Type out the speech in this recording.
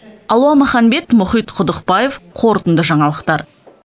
алуа маханбет мұхит құдықбаев қорытынды жаңалықтар